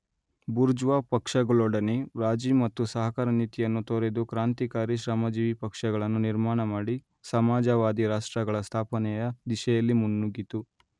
bourgeois ಪಕ್ಷಗಳೊಡನೆ ರಾಜಿ ಮತ್ತು ಸಹಕಾರ ನೀತಿಯನ್ನು ತೊರೆದು ಕ್ರಾಂತಿಕಾರಿ ಶ್ರಮಜೀವಿಪಕ್ಷಗಳನ್ನು ನಿರ್ಮಾಣಮಾಡಿ ಸಮಾಜವಾದಿರಾಷ್ಟ್ರಗಳ ಸ್ಥಾಪನೆಯ ದಿಶೆಯಲ್ಲಿ ಮುನ್ನುಗ್ಗಿತು